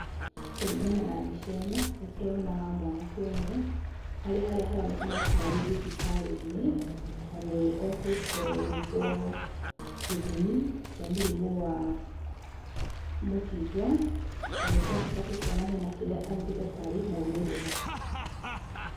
Kũringana na mbica ĩno nĩ tũrona mwanake ũmwe arĩ harĩa haronekana ta arĩ thibitarĩ-inĩ na nĩ okĩte gwĩkwo gĩthimi kĩa mũrimũ wa mũkingo na nĩ twacoka tukona hena kĩrĩa anyitĩte tarĩ maumĩrĩra.